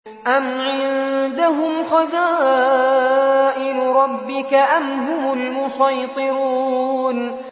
أَمْ عِندَهُمْ خَزَائِنُ رَبِّكَ أَمْ هُمُ الْمُصَيْطِرُونَ